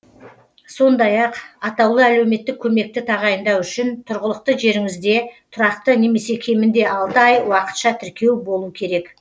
сондай ақ атаулы әлеуметтік көмекті тағайындау үшін тұрғылықты жеріңізде тұрақты немесе кемінде алты ай уақытша тіркеу болу керек